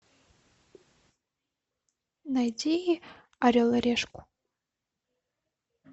найти орел и решку